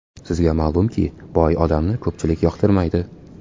Sizga ma’lumki, boy odamni ko‘pchilik yoqtirmaydi.